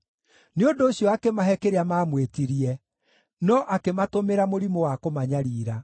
Nĩ ũndũ ũcio akĩmahe kĩrĩa maamwĩtirie, no akĩmatũmĩra mũrimũ wa kũmanyariira.